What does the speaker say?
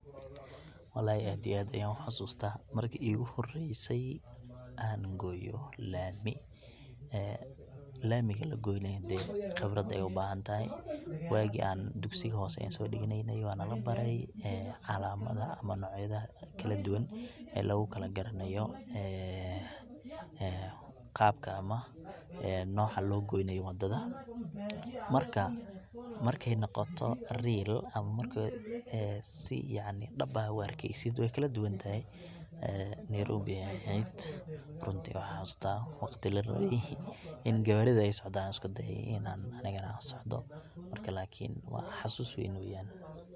wallahi aad iyo aad ayan u xasuusta marki igu horeyse an gooyo laami ee lamiga lagoynayo dee qibrad ayay ubahantahy, waagi an dugsiga hoose an soo duganeyne aya nala baray ee calamadaha ama nocyada kala duban ee lugu kala garanayo qabka ama noca loo goynayo wadada, marka markay noqoto real ama marka si yacni dhab ah ad u arkeysid way kala duban tahay. nayrobi ayay ahayd runtii waxan xasuusta, waqti la rabay in gaawarida ay socdan ayan isku da"ay in an anigana an socdo, marka xauus weyn